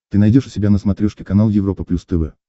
ты найдешь у себя на смотрешке канал европа плюс тв